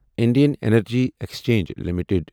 Indian energy exchange limited